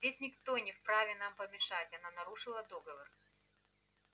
здесь никто не вправе нам помешать она нарушила договор